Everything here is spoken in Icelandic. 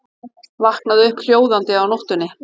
Vaknaði upp hljóðandi á nóttunni.